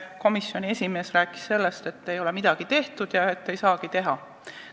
Komisjoni esimees rääkis, et selle huvides ei ole midagi tehtud ja ei saagi õpetada.